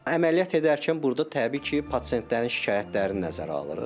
Əməliyyat edərkən burda təbii ki, pasientlərin şikayətlərini nəzərə alırıq.